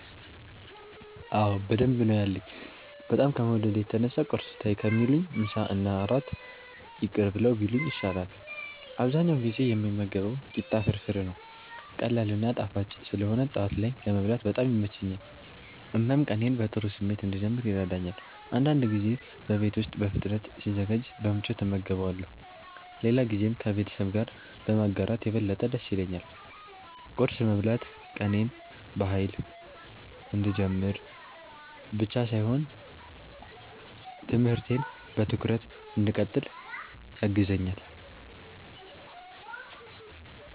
አዎ በደንብ ነው ያለኝ፤ በጣም ከመውደዴ የተነሳ ቁርስ ተይ ከሚሉኝ ምሳና እራት ይቅር ብለው ቢሉኝ ይሻላል። አብዛኛውን ጊዜ የምመገበው ቂጣ ፍርፍር ነው። ቀላል እና ጣፋጭ ስለሆነ ጠዋት ላይ ለመብላት በጣም ይመቸኛል፣ እናም ቀኔን በጥሩ ስሜት እንድጀምር ይረዳኛል። አንዳንድ ጊዜ በቤት ውስጥ በፍጥነት ሲዘጋጅ በምቾት እመገበዋለሁ፣ ሌላ ጊዜም ከቤተሰብ ጋር በማጋራት የበለጠ ደስ ይለኛል። ቁርስ መብላት ቀኔን በኃይል እንድጀምር ብቻ ሳይሆን ትምህርቴን በትኩረት እንድቀጥል ያግዘኛል።